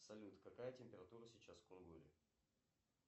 салют какая температура сейчас в кунгуре